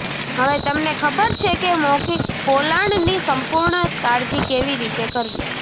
હવે તમને ખબર છે કે મૌખિક પોલાણની સંપૂર્ણ કાળજી કેવી રીતે કરવી